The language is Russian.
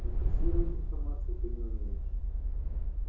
но фиксировать информацию ты не умеешь